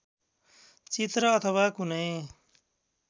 चित्र अथवा कुनै